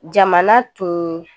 Jamana tun